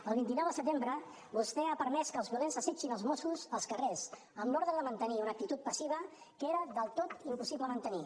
el vint nou de setembre vostè ha permès que els violents assetgin els mossos als carrers amb l’ordre de mantenir una actitud passiva que era del tot impossible mantenir